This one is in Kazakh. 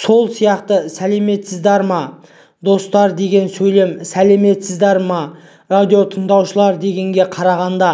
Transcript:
сол сияқты сәлематсыздар ма достар деген сөйлем сәлематсыздар ма радиотыңдаушылар дегенге қарағанда